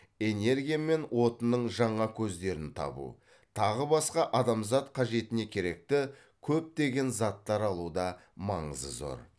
энергия мен отынның жаңа көздерін табу тағы басқа адамзат қажетіне керекті көптеген заттар алуда маңызы зор